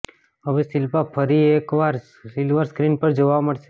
હવે શિલ્પા ફરી એક વાર સિલ્વર સ્ક્રીન પર જોવા મળશે